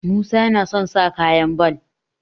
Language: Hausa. musa yana son sa kaya ball